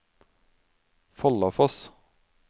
Follafoss